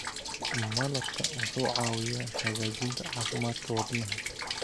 Malabka wuxuu caawiyaa hagaajinta caafimaadka wadnaha.